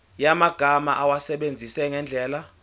yamagama awasebenzise ngendlela